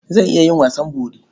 Zan iya yin wasan bori.